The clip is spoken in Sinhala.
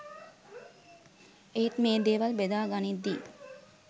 ඒත් මේ දේවල් බෙදාගනිද්දි